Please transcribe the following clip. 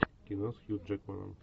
кино с хью джекманом